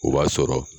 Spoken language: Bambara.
O b'a sɔrɔ